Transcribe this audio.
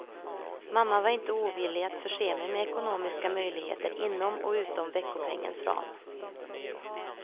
Mamma var inte ovillig att förse mig med ekonomiska möjligheter inom och utom veckopengens ram.